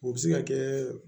O bɛ se ka kɛ